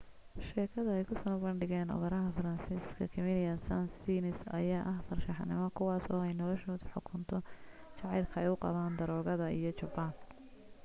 sheegakada ay kusoo bandhigeen operaha faransiiska camille saind-saens ayaa ah farshaxanimo kuwaasi oo ay noloshoda xukunto jacaylka ay u qabaan daroogada iyo jabaan